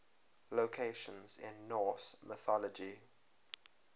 locations in norse mythology